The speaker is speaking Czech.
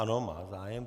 Ano, má zájem.